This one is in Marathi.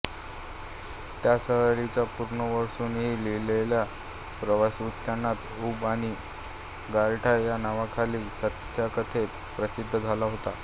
त्या सहलीचा पुनर्वसूंनी लिहिलेला प्रवासवृत्तान्त ऊब आणि गारठा या नावाखाली सत्यकथेत प्रसिद्ध झाला होता